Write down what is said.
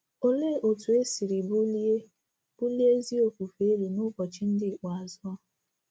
Olee otú e siri bulie bulie ezi ofufe elu n'ụbọchị ndị ikpeazụ a?